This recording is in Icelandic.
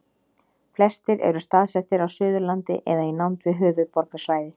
flestir eru staðsettir á suðurlandi eða í nánd við höfuðborgarsvæðið